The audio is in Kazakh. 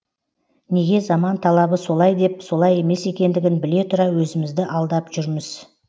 неге заман талабы солай деп солай емес екендігін біле тұра өзімізді алдап жүрміз